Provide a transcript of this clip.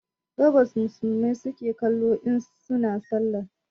Gabas musulmai suke kallo in suna sallah